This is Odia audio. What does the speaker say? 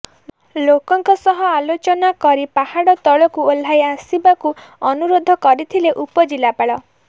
ଲୋକଙ୍କ ସହ ଆଲୋଚନା କରି ପାହାଡ଼ ତଳକୁ ଓହ୍ଲାଇ ଆସିବାକୁ ଅନୁରୋଧ କରିଥିଲେ ଉପଜିଲ୍ଲାପାଳ